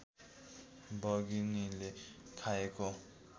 बघिनीले खाएको